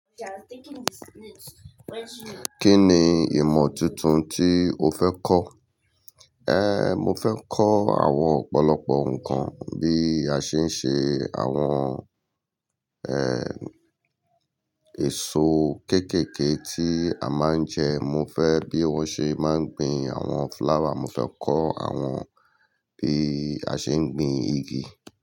Kí ni ìmọ̀ tuntun tí o fẹ́ kọ́? Ehn, mo fẹ́ kọ́ àwọn ọ̀pọ̀lọpọ̀ nǹkan bí a ṣe ń ṣe àwọn, eh, èso kéékèèké tí a máa ń jẹ. Mo fẹ́ bí wọ́n ṣe máa ń gbin àwọn flower. Mo fẹ́ kọ́ àwọn bí a ṣe ń gbin igi.